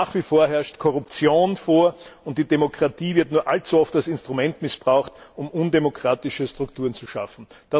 Nach wie vor herrscht Korruption vor, und die Demokratie wird nur allzu oft als Instrument missbraucht, um undemokratische Strukturen zu schaffen.